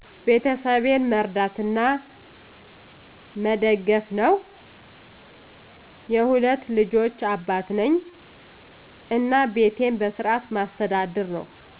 ቤተሰቤን መርዳት እና መደገፍ ነው። የሁለት ልጆች አባት ነኝ እና ቤቴን በስርዓት ማስተዳደር ነው።